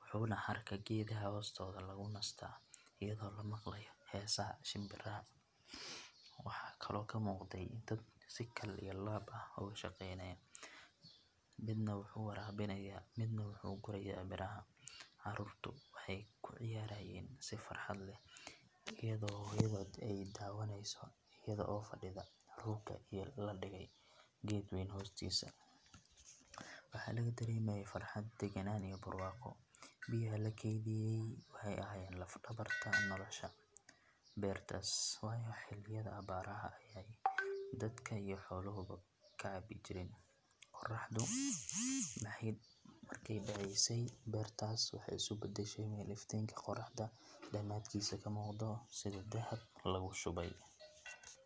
waxaana hadhka geedaha hoostooda lagu nastaa iyadoo la maqlayo heesaha shimbiraha. Waxaa kaloo ka muuqday dad si kal iyo laab ah uga shaqaynaya, midna wuxuu waraabinayaa, midna wuxuu gurayaa miraha. Caruurtu waxay ku ciyaarayeen si farxad leh iyadoo hooyadood ay daawanayso iyada oo fadhida rooga la dhigay geed weyn hoostiisa. Waxaa laga dareemayay farxad, degganaan iyo barwaaqo. Biyaha la kaydiyay waxay ahaayeen laf dhabarta nolosha beertaas, waayo xilliyada abaaraha ayay dadka iyo xoolahuba ka cabbi jireen. Qorraxdu markay dhacaysay, beerta waxay isu beddeshay meel iftiinka qorraxda dhamaadkiisa ka muuqdo sida dahab lagu shubay.